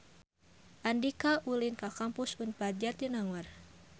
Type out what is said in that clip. Andika ulin ka Kampus Unpad Jatinangor